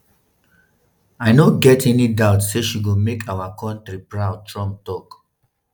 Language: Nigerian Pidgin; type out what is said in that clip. i no get any doubt say she go make our kontri proud” trump tok.